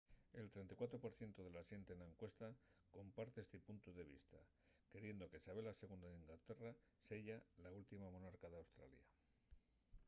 el 34 por cientu de la xente na encuesta comparte esti puntu de vista queriendo que sabela ii d’inglaterra seya la última monarca d’australia